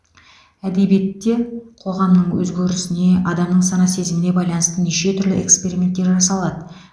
әдебиетте қоғамның өзгерісіне адамның сана сезіміне байланысты неше түрлі эксперименттер жасалады